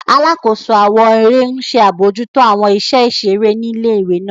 Alakoso awọn ere ń ṣe alabojuto awọn iṣẹ iṣere ni ìlé-ìwé náà.